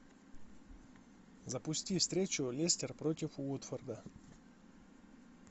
запусти встречу лестер против уотфорда